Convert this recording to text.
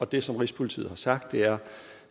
det som rigspolitiet har sagt er